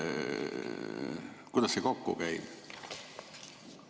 Kuidas see sellega kokku käib?